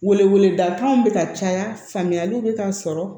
Wele weleda kanw bɛ ka caya faamuyaliw bɛ ka sɔrɔ